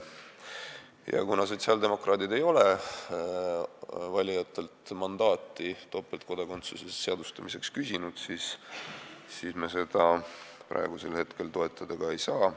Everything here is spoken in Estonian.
Ja kuna sotsiaaldemokraadid ei ole valijatelt topeltkodakondsuse seadustamiseks mandaati küsinud, siis me seda praegu toetada ka ei saa.